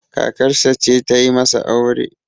kakarsa ce ta yi masa aure